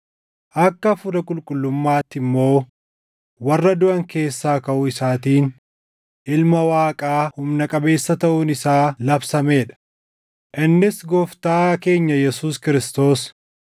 akka Hafuura qulqullummaatti immoo warra duʼan keessaa kaʼuu isaatiin Ilma Waaqaa humna qabeessa taʼuun isaa labsamee dha; innis Gooftaa keenya Yesuus Kiristoos.